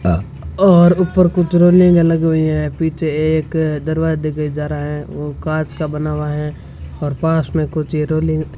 और ऊपर कुछ रोलिंग लगी हुई है पीछे एक दरवाजे के जा रहा है वो कांच का बना हुआ है और पास में कुछ ये रोलिंग --